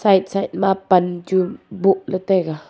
side ma pan chu boh ley tai ga.